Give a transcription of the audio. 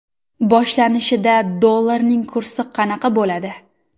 Boshlanishida dollarning kursi qanaqa bo‘ladi?